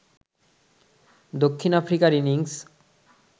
দক্ষিণ আফ্রিকার ইনিংস